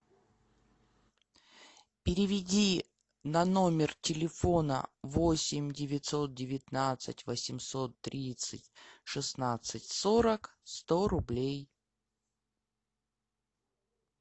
переведи на номер телефона восемь девятьсот девятнадцать восемьсот тридцать шестнадцать сорок сто рублей